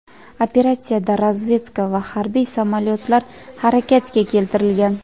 Operatsiyada razvedka va harbiy samolyotlar harakatga keltirilgan.